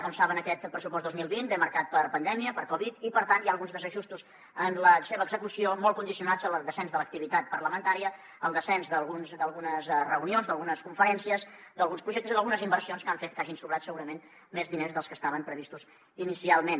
com saben aquest pressupost dos mil vint ve marcat per pandèmia per covid i per tant hi ha alguns desajustos en la seva execució molt condicionats al descens de l’activitat parlamentària al descens d’algunes reunions d’algunes conferències d’alguns projectes i d’algunes inversions que han fet que hagin sobrat segurament més diners dels que estaven previstos inicialment